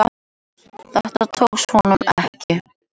Þetta tókst honum ekki.